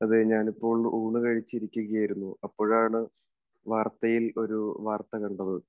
അതെ. ഞാനിപ്പോൾ ഊണു കഴിച്ചിരിക്കുകയായിരുന്നു. അപ്പോഴാണ് വാർത്തയിൽ ഒരു വാർത്ത കണ്ടത്.